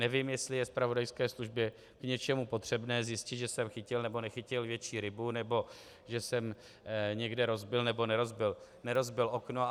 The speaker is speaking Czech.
Nevím, jestli je zpravodajské službě k něčemu potřebné zjistit, že jsem chytil nebo nechytil větší rybu nebo že jsem někde rozbil nebo nerozbil okno.